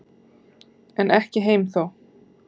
En ekki heim þó.